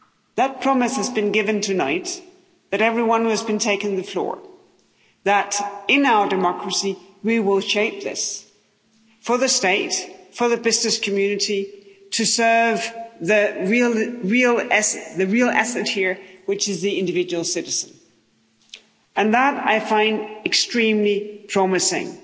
That promise has been given tonight by everyone who has been taking the floor, that in our democracy we will shape this for the state, for the business community, to serve the real asset here, which is the individual citizen, and that I find extremely promising.